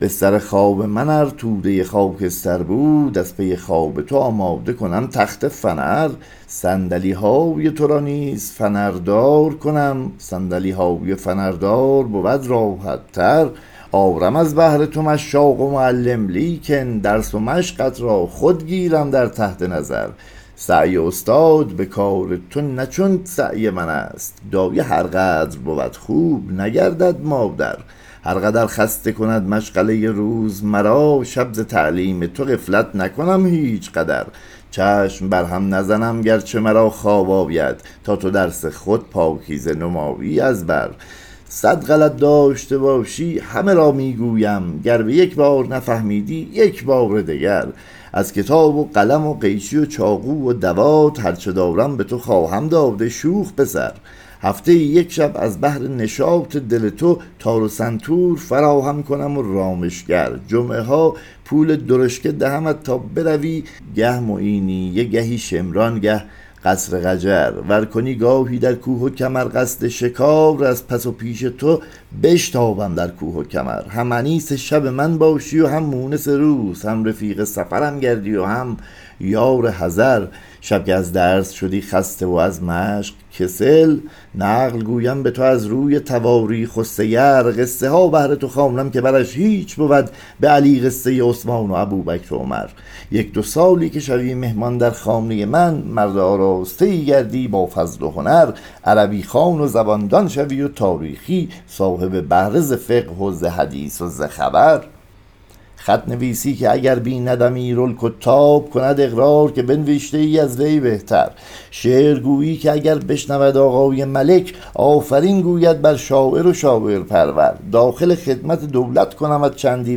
بستر خواب من ار تودۀ خاکستر بود از پی خواب تو آماده کنم تخت فنر صندلی های ترا نیز فنردار کنیم صندلی های فنردار بود راحت تر آرم از بهر تو مشاق و معلم لیکن درس و مشقت را خود گیرم در تحت نظر سعی استاد به کار تو نه چون سعی من است دایه هر قدر بود خوب نگردد مادر هر قدر خسته کند مشغلۀ روز مرا شب ز تعلیم تو غفلت نکنم هیچ قدر چشم بر هم نزنم گرچه مرا خواب آید تا تو درس خود پاکیزه نمایی از بر صد غلط داشته باشی همه را می گویم گربه یک بار نفهمیدی یک بار دگر از کتاب و قلم و قیچی و چاقو و دوات هر چه دارم به تو خواهم داد ای شوخ پسر هفته ای یک شب از بهر نشاط دل تو تار و سنتور فراهم کنم و رامشگر جمعه ها پول درشکه دهمت تا بروی گه معینیه گهی شمران گه قصر قجر ور کنی گاهی در کوه و کمر قصد شکار از پس و پیش تو بشتابم در کوه و کمر هم انیس شب من باشی و هم مونس روز هم رفیق سفرم گردی و هم یار حضر شب که از درس شدی خسته و از مشق کسل نقل گویم به تو از روی تواریخ و سیر قصه ها بهر تو خوانم که برش هیچ بود به علی قصۀ عثمان و ابوبکر و عمر یک دو سالی که شوی مهمان در خانۀ من مرد آراسته ای کردی با فضل و هنر عربی خوان و زبان دان شوی و تاریخی صاحب بهره ز فقه و ز حدیث و ز خبر خط نویسی که اگر بیند امیرالکتاب کند فرار که به نوشته ای از وی بهتر شعر گویی که اگر بشنود آقای ملک آفرین گوید بر شاعر و شاعرپرور داخل خدمت دولت کنمت چندی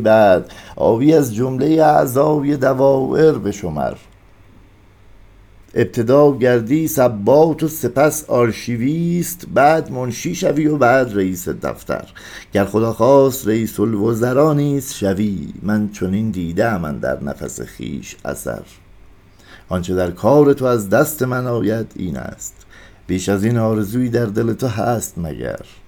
بعد آیی از جملۀ اعضای دوایر به شمر ابتدا گردی نبات و سپس آرشیویست بعد منشی شوی و بعد رییس دفتر گر خدا خواست رییس الوزرا نیز شوی من چنین دیده ام اندر نفس خویش اثر آنچه در کار تو از دست من آید اینست بیش از این آرزویی در دل تو هست مگر